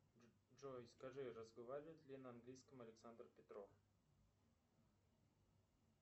джой скажи разговаривает ли на английском александр петров